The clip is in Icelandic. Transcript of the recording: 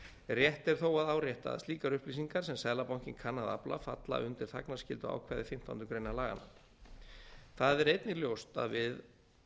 rétt er þó að árétta að slíkar upplýsingar sem seðlabankinn kann að afla falla undir þagnarskylduákvæði fimmtándu grein laganna það er einnig ljóst að við